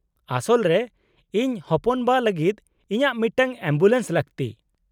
-ᱟᱥᱚᱞ ᱨᱮ, ᱤᱧ ᱦᱚᱯᱚᱱᱵᱟ ᱞᱟᱹᱜᱤᱫ ᱤᱧᱟᱹᱜ ᱢᱤᱫᱴᱟᱝ ᱮᱢᱵᱩᱞᱮᱱᱥ ᱞᱟᱹᱠᱛᱤ ᱾